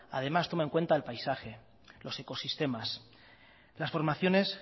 además toma en cuenta el paisaje los ecosistemas las formaciones